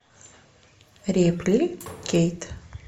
репли кейт